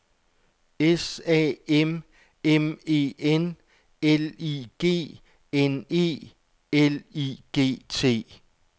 S A M M E N L I G N E L I G T